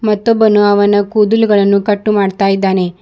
ಮತ್ತೊಬ್ಬನು ಅವನ ಕೂದಲುಗಳನ್ನು ಕಟ್ಟು ಮಾಡ್ತಾ ಇದ್ದಾನೆ.